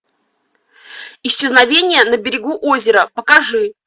исчезновение на берегу озера покажи